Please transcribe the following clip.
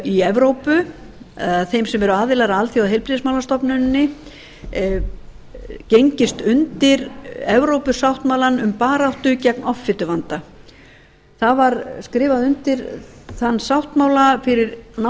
í evrópu þeim sem eru aðilar að alþjóðaheilbrigðismálastofnuninni gengist undir evrópusáttmálann um baráttu gegn offituvanda það var skrifað undir þann sáttmála fyrir nákvæmlega